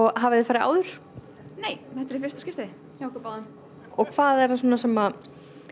hafiði farið áður nei þetta er í fyrsta skipti hjá okkur báðum hvað er það svona sem